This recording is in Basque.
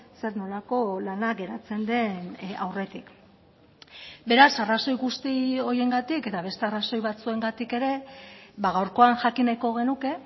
zer nolako lana geratzen den aurretik beraz arrazoi guzti horiengatik eta beste arrazoi batzuengatik ere gaurkoan jakin nahiko genuke